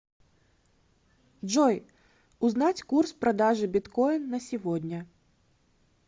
джой узнать курс продажи биткоин на сегодня